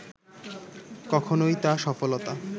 কখনওই তা সফলতা